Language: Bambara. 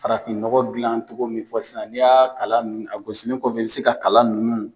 Farafin nɔgɔ dilan togo min fɔ sisan n'i y'a kalan nn a gosilen kɔfɛ i bɛ se ka kalan nunnu